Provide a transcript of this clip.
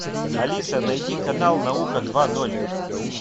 алиса найди канал наука два ноль